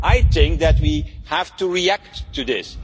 I think that we have to react to this.